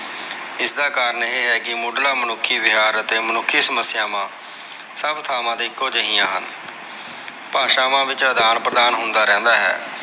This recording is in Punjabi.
ਇਸਦਾ ਕਾਰਣ ਇਹ ਹੈ ਕਿ ਮੁਢਲਾ ਮੁਨੱਖੀ ਵਿਹਾਰ ਅਤੇ ਮੁਨੱਖੀ ਸਮੱਸਿਆਵਾਂ ਸਭ ਥਾਵਾਂ ਤੇ ਇੱਕੋ ਜਿਹੀਆਂ ਹਨ। ਭਾਸਵਾਂ ਵਿੱਚ ਅਦਾਨ-ਪ੍ਰਦਾਨ ਹੁੰਦਾ ਰਹਿੰਦਾ ਹੈ।